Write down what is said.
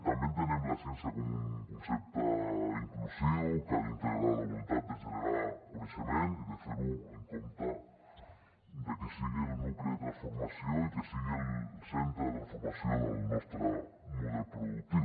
també entenem la ciència com un concepte inclusiu que ha d’integrar la voluntat de generar coneixement i de fer ho en compte de que sigui el nucli de transformació i que sigui el centre de transformació del nostre model productiu